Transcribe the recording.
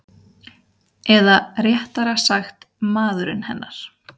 Eða réttara sagt maðurinn hennar.